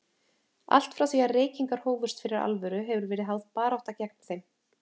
Allt frá því reykingar hófust fyrir alvöru, hefur verið háð barátta gegn þeim.